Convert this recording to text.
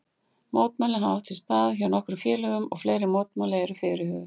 Mótmæli hafa átt sér stað hjá nokkrum félögum og fleiri mótmæli eru fyrirhuguð.